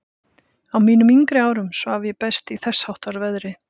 Á mínum yngri árum svaf ég best í þessháttar veðri.